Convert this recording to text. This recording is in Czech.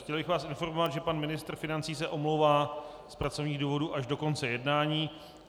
Chtěl bych vás informovat, že pan ministr financí se omlouvá z pracovních důvodů až do konce jednání.